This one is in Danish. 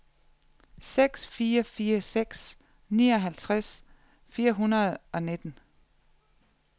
seks fire fire seks nioghalvtreds fire hundrede og nitten